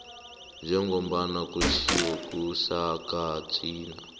njengombana kutjhiwo kusigatjana